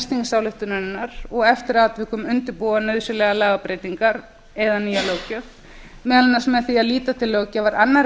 þingsályktunarinnar og eftir atvikum undirbúa nauðsynlegar lagabreytingar eða nýja löggjöf með því meðal annars að líta til löggjafar annarra ríkja með það